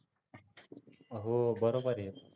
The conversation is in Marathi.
हो बरोबर आहे.